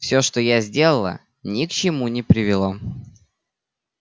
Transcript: все что я сделала ни к чему не привело